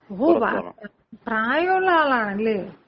ഓ പ്രായൊള്ള ആളാണല്ലേ?